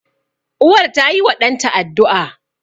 Uwar tayiwa ɗanta addu'a.